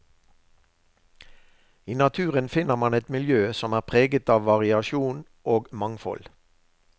I naturen finner man et miljø som er preget av variasjon og mangfold.